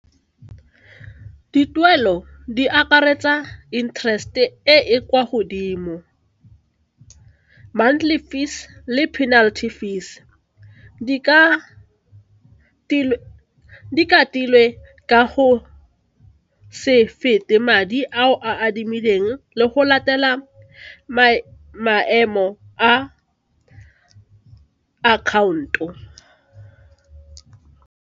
Dituelo di akaretsa interest e e kwa godimo, monthly fees le penalty fees di katilwe ka go se fete madi ao a adimileng le go latela maemo a akhaonto.